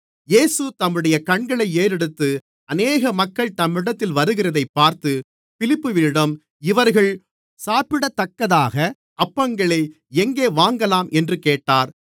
இயேசு தம்முடைய கண்களை ஏறெடுத்து அநேக மக்கள் தம்மிடத்தில் வருகிறதைப் பார்த்து பிலிப்புவினிடம் இவர்கள் சாப்பிடத்தக்கதாக அப்பங்களை எங்கே வாங்கலாம் என்று கேட்டார்